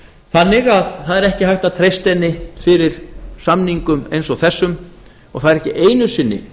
þannig að það er ekki hægt að treysta henni fyrir samningum eins og þessum og það er ekki einu sinni